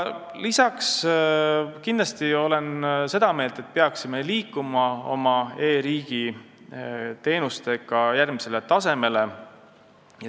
Kindlasti olen aga seda meelt, et me peaksime liikuma oma e-riigi teenustega järgmisele tasemele.